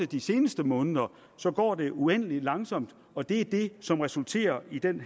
de seneste måneder så går det uendelig langsomt og det er det som resulterer i den